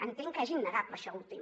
entenc que és innegable això últim